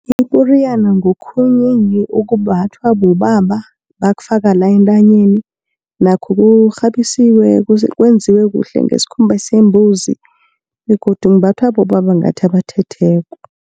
Iporiyana ngokhunye nje okumbathwa bobaba, bakufaka la, entanyeni nakho kukghabisiwe kwenziwe kuhle ngesikhumba sembuzi, begodu imbathwa bobaba ngingathi abathetheko.